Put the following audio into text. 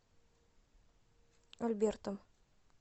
альбертом